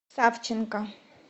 савченко